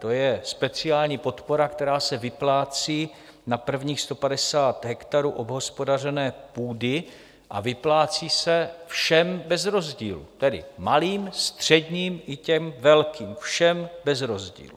To je speciální podpora, která se vyplácí na prvních 150 hektarů obhospodařené půdy a vyplácí se všem bez rozdílu, tedy malým, středním i těm velkým, všem bez rozdílu.